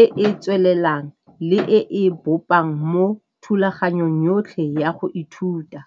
e e tswelelang le e e bopang mo thulaganyong yotlhe ya go ithuta.